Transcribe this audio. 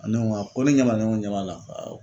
ne ŋo awɔ ko ne ɲɛ b'a ne ŋo n ɲɛ b'a la awɔ